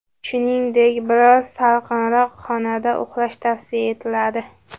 Shuningdek, biroz salqinroq xonada uxlash tavsiya etiladi.